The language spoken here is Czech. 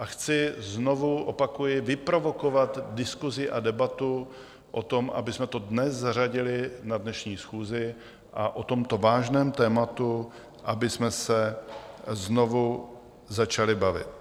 A chci znovu, opakuji, vyprovokovat diskusi a debatu o tom, abychom to dnes zařadili na dnešní schůzi a o tomto vážném tématu abychom se znovu začali bavit.